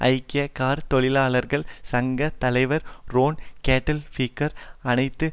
ஐக்கிய கார் தொழிலாளர்கள் சங்க தலைவர் ரோன் கெட்டில்பிங்கர் அனைத்து